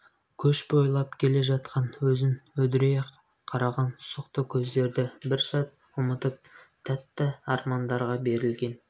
көш бойлап келе жатқан өзін үдірейе қараған сұқты көздерді бір сәт ұмытып тәтті армандарға берілген